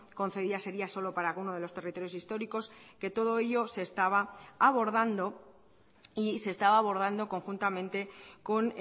concedida sería solo para uno de los territorios históricos que todo ello se estaba abordando y se estaba abordando conjuntamente con